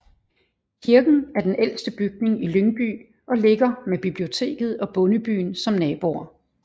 Kirken er den ældste bygning i Lyngby og ligger med biblioteket og Bondebyen som naboer